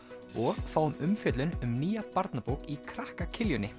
og fáum umfjöllun um nýja barnabók í krakka